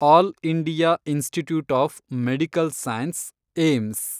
all India institute of medical science , AIIMS